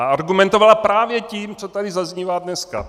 A argumentovala právě tím, co tady zaznívá dneska.